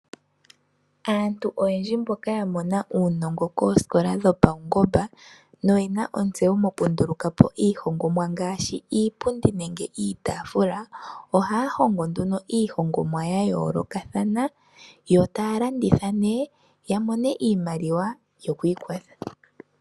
Aantu oyendji mboka yamona uunongo koosikola dhopaungomba. Noyena ontseyo moku ndulukapo iihongomwa ngaashi iipundi nenge iitaafula. Ohaya hongo nduno iihongomwa ya yoolokathana. Yo taya landitha nee ya mone iimaliwa yoku ikwatha.